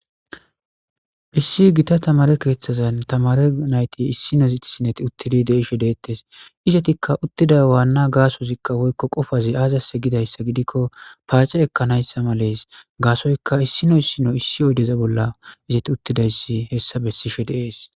Issi gita tamare keeththazan tamare nayti issinoziti sineti uttidi deishe deettes isetikka uttida waanna gaasozikka hoykko qofazi aazase gidayssa gidikko paace ekkanayssa malees gaasoyka issino issino issi oydeza bolla izati uttidayssi hessa bessishe deees.